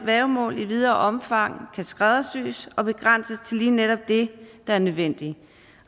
værgemål i videre omfang kan skræddersys og begrænses til lige netop det der er nødvendigt